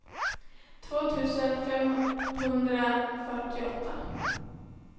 två tusen femhundrafyrtioåtta